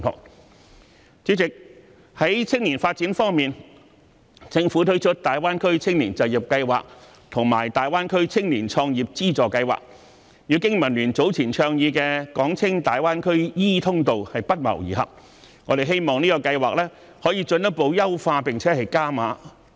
代理主席，在青年方面，政府推出大灣區青年就業計劃和粵港澳大灣區青年創業資助計劃，與經民聯早前倡議的"港青大灣區 e 通道"不謀而合，我們希望這個計劃可以進一步優化並"加碼"。